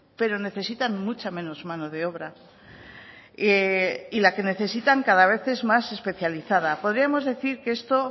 pero necesitan mucha menos mano de obra y la que necesitan es cada vez especializada podríamos decir que esto